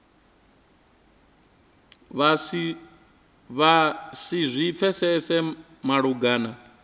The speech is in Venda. vha si zwi pfesese malugana